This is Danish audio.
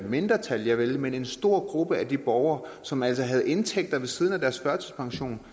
mindretal javel men en stor gruppe af de borgere som altså havde indtægterne ved siden af deres førtidspension